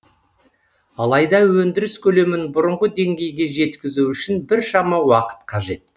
алайда өндіріс көлемін бұрынғы деңгейге жеткізу үшін біршама уақыт қажет